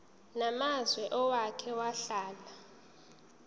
namazwe owake wahlala